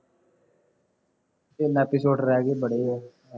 ਤਿੰਨ episode ਰਹਿ ਗਏ ਬੜੇ ਆ